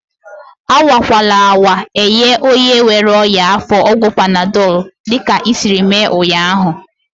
Anwakwala anwa enye onye nwere ọnyá afọ ọgwụ panadọl dịka isiiri mee ụnyaahụ!